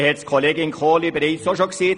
Grossrätin Kohli hat es zuvor auch gesagt: